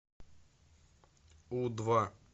у два